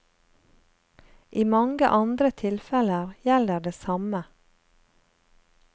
I mange andre tilfeller gjelder det samme.